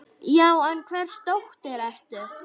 Já, en hvers dóttir ertu.?